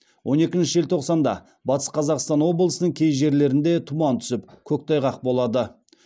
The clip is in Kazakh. он екінші желтоқсанда батыс қазақстан облысының кей жерлерінде тұман түсіп көктайғақ болады